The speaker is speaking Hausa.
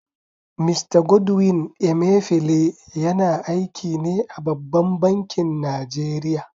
Mista Godwin Emefiele yana aiki ne a babban bankin Najeriya.